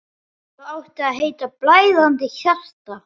Það átti að heita: Blæðandi hjarta.